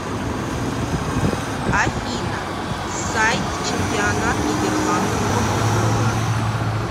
афина сайт чемпионат нидерландов по футболу